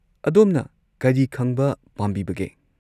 ꯑꯗꯣꯝꯅ ꯀꯔꯤ ꯈꯪꯕ ꯄꯥꯝꯕꯤꯕꯒꯦ?